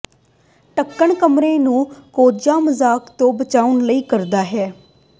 ਢੱਕਣ ਕਮਰੇ ਨੂੰ ਕੋਝਾ ਮਜ਼ਾਕ ਤੋਂ ਬਚਾਉਣ ਲਈ ਕਰਦਾ ਹੈ